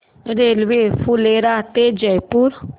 railway Phulera ते जयपूर